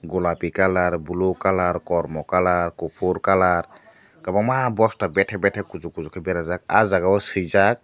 golapi kalar bulu kalar kormo kalar kupur kalar kwbangma bosta bete bete kuchuk kuchuk ke berajak aw jaaga o swijak.